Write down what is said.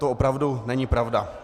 To opravdu není pravda.